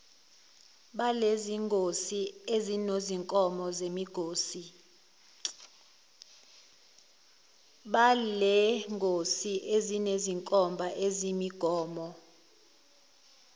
balengosi esinezinkomba zemigomo